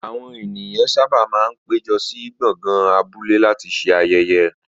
Àwọn ènìyàn sábà máa ń péjọ sí gbọ̀ngàn abúlé láti ṣe ayẹyẹ.